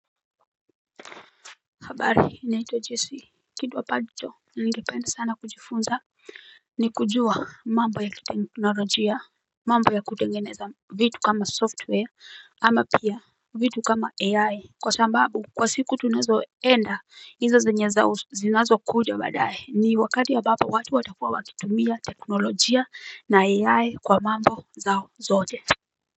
Habari naitwa jesi kitu ampacho Ningependa sana kujifunza ni kujua mambo ya kiteknologia mambo ya kutengeneza vitu kama software ama pia vitu kama AI Kwa shambabu kwa siku tunazoenda hizo zenye za zinazo kuja baadae ni wakati ambapo watu watakuwa wakitumia teknolojia na AI kwa mambo zao zote chao.